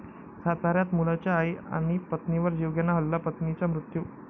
साताऱ्यात मुलाचा आई आणि पत्नीवर जीवघेणा हल्ला, पत्नीचा मृत्यू